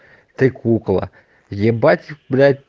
ты кукла ебать блять